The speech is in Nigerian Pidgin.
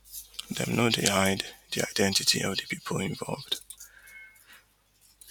dem no no hide di identity of di pipu involved